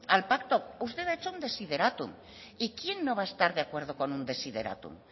al pacto usted ha hecho un desiderátum y quién no va a estar de acuerdo con un desiderátum